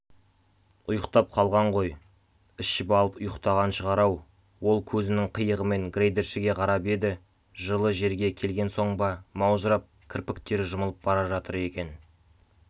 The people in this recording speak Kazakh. ұйықтап қалған ғой ішіп алып ұйықтаған шығар-ау ол көзінің қиығымен грейдершіге қарап еді жылы жерге келген соң ба маужырап кірпіктері жұмылып бара жатыр екен